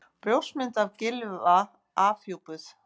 Brjóstmynd af Gylfa afhjúpuð